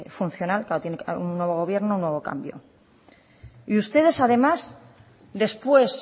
funcional un nuevo gobierno un nuevo cambio y ustedes además después